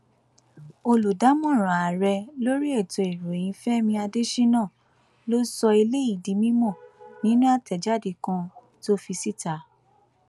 olùdámọràn ààrẹ lórí ètò ìròyìn fẹmi adésínà ló sọ eléyìí di mímọ nínú àtẹjáde kan tó fi síta